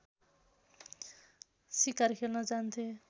सिकार खेल्न जान्थे